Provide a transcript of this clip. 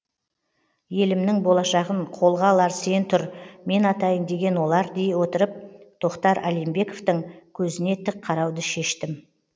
елімнің болашағын қолға алар сен тұр мен атайын деген олар дей отырып тохтар алимбековтың көзіне тік қарауды шештім